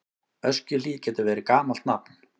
Öskjuhlíð getur verið gamalt nafn.